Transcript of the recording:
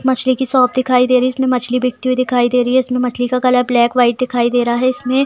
मछली की शॉप दिखाई दे रहीइसमें मछली बिकती हुई दिखाई दे रही हैइसमें मछली की कलर ब्लैक वाइट दे रहा हैइसमें ----